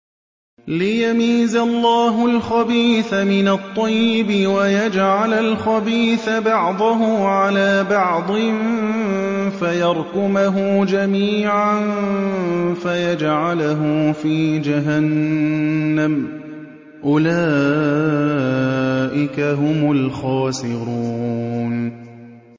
لِيَمِيزَ اللَّهُ الْخَبِيثَ مِنَ الطَّيِّبِ وَيَجْعَلَ الْخَبِيثَ بَعْضَهُ عَلَىٰ بَعْضٍ فَيَرْكُمَهُ جَمِيعًا فَيَجْعَلَهُ فِي جَهَنَّمَ ۚ أُولَٰئِكَ هُمُ الْخَاسِرُونَ